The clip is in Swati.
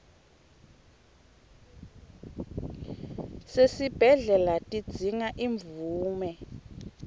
sesibhedlela tidzinga imvume